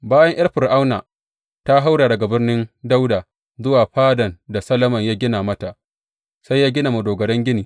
Bayan ’yar Fir’auna ta haura daga Birnin Dawuda zuwa fadan da Solomon ya gina mata, sai ya gina madogaran gini.